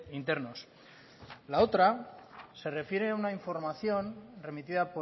internos la otra se refiere a una información remitida